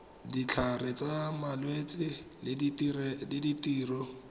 ditlhare tsa malwetse le ditiro